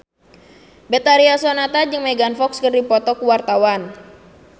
Betharia Sonata jeung Megan Fox keur dipoto ku wartawan